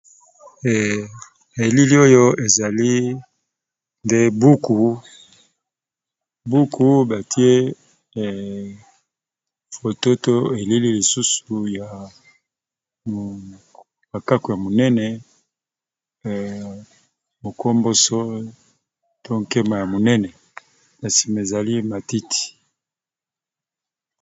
Elili oyo ezali nde buku, buku batie foto to elili lisusu ya makako ya monene mokomboso to nkema ya monene na sima ezali matiti.